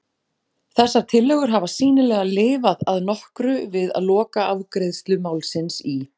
Þessar tillögur hafa sýnilega lifað að nokkru við lokaafgreiðslu málsins í